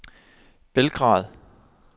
Belgrad